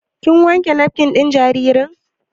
Kin wanke nafkin ɗin jaririn?